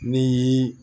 Ni